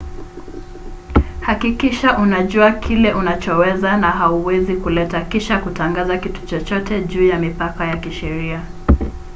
hakikisha unajua kile unachoweza na hauwezi kuleta kisha kutangaza kitu chochote juu ya mipaka ya kisheria